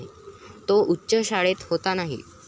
तो उच्च शाळेत होता नाही.